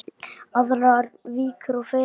Aðrar víkur og firðir